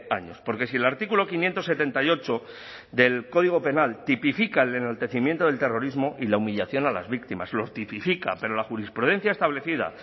años porque si el artículo quinientos setenta y ocho del código penal tipifica el enaltecimiento del terrorismo y la humillación a las víctimas lo tipifica pero la jurisprudencia establecida